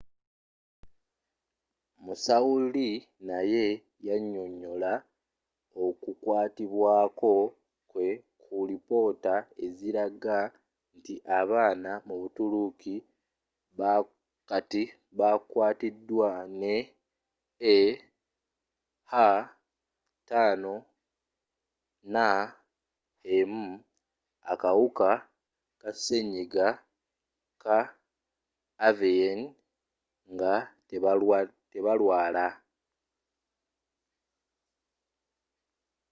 musawo lee naye yanyonyola oku kwatibwako kwe ku lipoota eziraga nti abaana mu butuluki kati bakwaatiddwa ne ah5n1 akawuka ka senyiga wa avian nga tebalwala